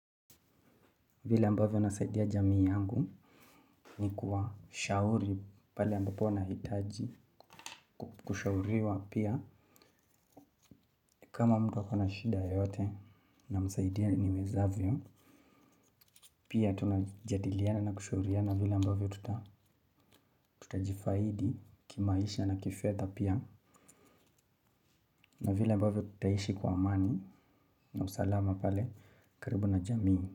Vile amabavyo nasaidia jamii yangu ni kuwashauri pale ambapo wanahitaji kushauriwa pia kama mtu ako na shinda yoyote namsaidia niwezavyo pia tunajadiliana na kushauriana vile ambavyo tutajifahidi kimaisha na kifedha pia na vile ambavyo tutaishi kwa amani na usalama pale karibu na jamii.